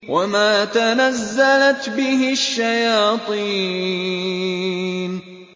وَمَا تَنَزَّلَتْ بِهِ الشَّيَاطِينُ